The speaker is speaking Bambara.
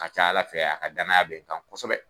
ka ca ala fɛ a ka danaya be n kan kosɛbɛ